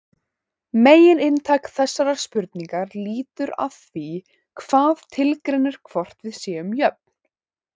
Megininntak þessarar spurningar lítur að því hvað tilgreinir hvort við séum jöfn.